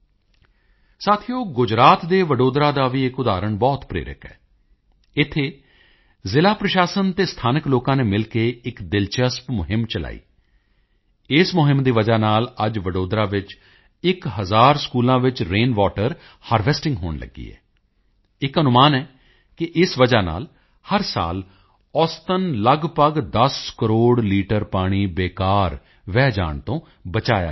ਸਾਥੀਓ ਗੁਜਰਾਤ ਦੇ ਵਡੋਦਰਾ ਦਾ ਵੀ ਇੱਕ ਉਦਾਹਰਣ ਬਹੁਤ ਪ੍ਰੇਰਕ ਹੈ ਇੱਥੇ ਜ਼ਿਲ੍ਹਾ ਪ੍ਰਸ਼ਾਸਨ ਅਤੇ ਸਥਾਨਕ ਲੋਕਾਂ ਨੇ ਮਿਲ ਕੇ ਇੱਕ ਦਿਲਚਲਪ ਮੁਹਿੰਮ ਚਲਾਈ ਇਸ ਮੁਹਿੰਮ ਦੀ ਵਜ੍ਹਾ ਨਾਲ ਅੱਜ ਵਡੋਦਰਾ ਵਿੱਚ 1000 ਸਕੂਲਾਂ ਵਿੱਚ ਰੇਨ ਵਾਟਰ ਹਾਰਵੈਸਟਿੰਗ ਹੋਣ ਲੱਗੀ ਹੈ ਇੱਕ ਅਨੁਮਾਨ ਹੈ ਕਿ ਇਸ ਵਜ੍ਹਾ ਨਾਲ ਹਰ ਸਾਲ ਔਸਤਨ ਲਗਭਗ 10 ਕਰੋੜ ਲੀਟਰ ਪਾਣੀ ਬੇਕਾਰ ਵਹਿ ਜਾਣ ਤੋਂ ਬਚਾਇਆ ਜਾ ਰਿਹਾ ਹੈ